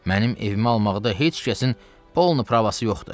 Mənim evimi almaqda heç kəsin polnu pravası yoxdur.